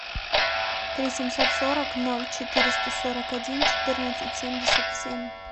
три семьсот сорок ноль четыреста сорок один четырнадцать семьдесят семь